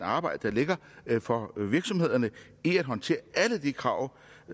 arbejde der ligger for virksomhederne i at håndtere alle de krav